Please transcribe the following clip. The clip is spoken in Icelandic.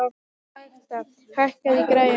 Magda, hækkaðu í græjunum.